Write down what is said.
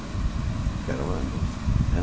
Que era uma música né.